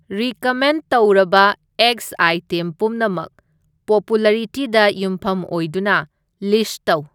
recommend ꯇꯧꯔꯕ ꯑꯦꯒ꯭ꯁ item ꯄꯨꯝꯅꯃꯛ ꯄꯣꯄꯨꯂꯔꯤꯇꯤꯗ ꯌꯨꯝꯐꯝ ꯑꯣꯗꯨꯅ ꯂꯤꯁꯠ ꯇꯧ